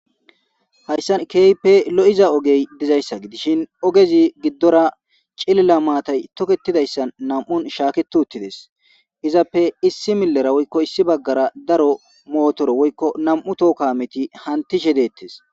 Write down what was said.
Hayssa keype lo'iza ogey dizayssa gidishin ogezi giddora cilila maatay toketidayssan nam'un shaakitu uttides izappe issi millera woykko issi baggara daro mootoro woykko nam'u tookameti hantishe deettes.